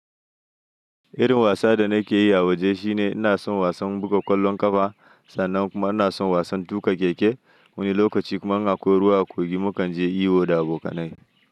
Irin wasa danake yi a waje shine inason wasan buga ƙwallon ƙafa sannan kuma inason wasan tuƙa keke. Wani lokaci kuma in na akwai ruwa a kogi mukan je iyo da abokanai.